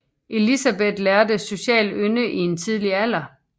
Elizabeth lærte social ynde i en tidlig alder